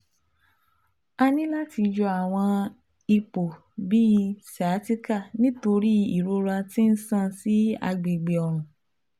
A ni lati yọ awọn ipo bi sciatica nitori irora ti n ṣan si agbegbe ọrùn